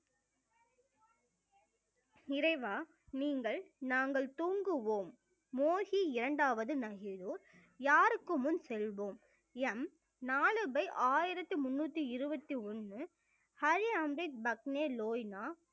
இறைவா நீங்கள் நாங்கள் தூங்குவோம் மோகி இரண்டாவது நகிலோன் யாருக்கு முன் செல்வோம் எம் நாலு by ஆயிரத்தி முன்னூத்தி இருவத்தி ஒண்ணு ஹரி ரேம் தேவ் பக்கனே லோயின